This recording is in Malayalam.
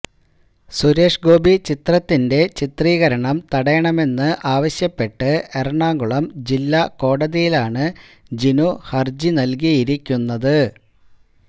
സുരേഷ് ഗോപി ചിത്രത്തിന്റെ ചിത്രീകരണം തടയണമെന്ന് ആവശ്യപ്പെട്ട് എറണാകുളം ജില്ലാ കോടതിയിലാണ് ജിനു ഹര്ജി നല്കിയിരിക്കുന്നത്